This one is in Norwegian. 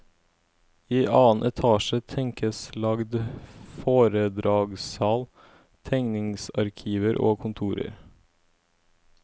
I annen etasje tenkes lagt foredragssal, tegningsarkiver og kontorer.